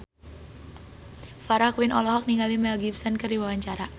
Farah Quinn olohok ningali Mel Gibson keur diwawancara